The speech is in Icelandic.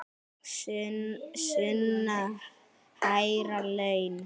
Sunna: Hærri laun?